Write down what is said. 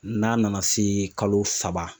N'a nana se kalo saba.